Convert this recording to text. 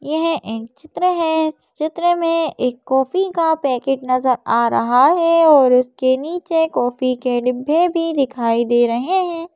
यह एक चित्र है चित्र में एक कॉफी का पैकेट नजर आ रहा है और उसके नीचे कॉफी के डिब्बे भी दिखाई दे रहे हैं।